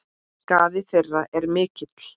Skaði þeirra er mikill.